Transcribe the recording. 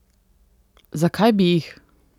Zakaj bi jih?